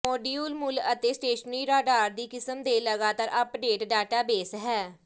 module ਮੂਲ ਅਤੇ stationary radar ਦੀ ਕਿਸਮ ਦੇ ਲਗਾਤਾਰ ਅੱਪਡੇਟ ਡਾਟਾਬੇਸ ਹੈ